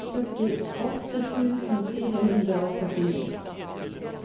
førtiåtte tusen fire hundre og førtini